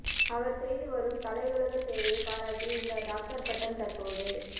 அவர் செய்து வரும் கலையுலக சேவையை பாராட்டி இந்த டாக்டர் பட்டம் தற்போது